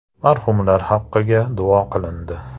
Marhumlar haqiga duo qilindi.